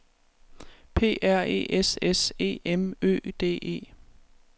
P R E S S E M Ø D E